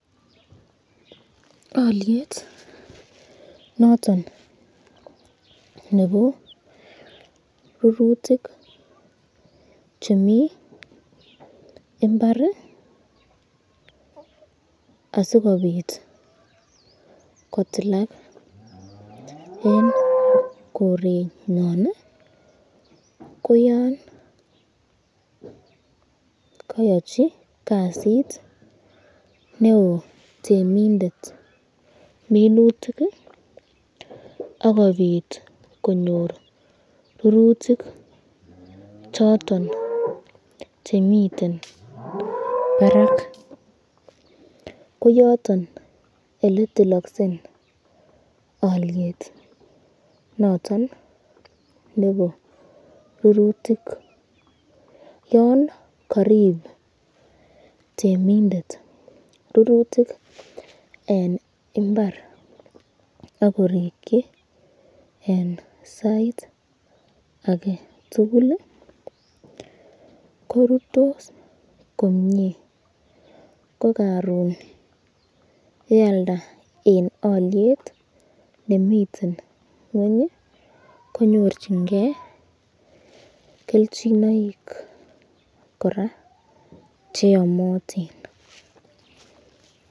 Alyet noton nebo rurutik chemi imbar asikobit kotilak eng korenyon ko yan kayachi kasit neo temindet minutik akobit konyor rurutik choton chemiten barak, ko yaton eletilakse alyet noton nebo rurutik, yon karibu temindet rurutik eng imbar akirikyo eng saiit aketukul eng tukul korutu komnye, ko karon yealda eng alyet nemiten ngweny konyorchiken kelchinoik koraa cheamatin.